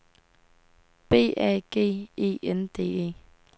B A G E N D E